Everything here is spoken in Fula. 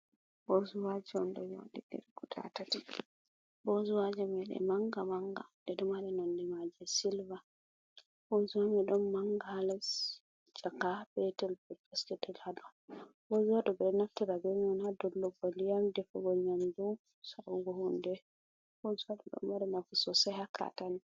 Bozuwaje on ɗo yewn didiri guda tati, bozuwaje mai ɗe manga manga, ɗe ɗo mari nondi ma je silvar. Bozuame me ɗon manga ha les, caka, petel, be pesketel ha dou, Bozuwa ɗo ɓe ɗo naftira be mai on ha dollugo ndiyam, defugo nyamdu, sa'ugo hunde, bozuwa ɗo ɗon mari nafu sosai hakata ne.